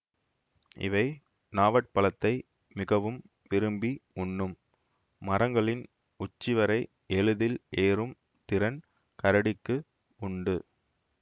இவை நாவற்பழத்தை மிகவும் விரும்பி உண்ணும் மரங்களின் உச்சிவரை எளிதில் ஏறும் திறன் கரடிக்கு உண்டு